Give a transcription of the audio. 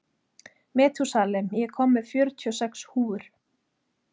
Metúsalem, ég kom með fjörutíu og sex húfur!